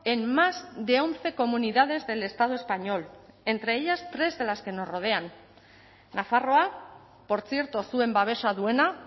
en más de once comunidades del estado español entre ellas tres de las que nos rodean nafarroa portzierto zuen babesa duena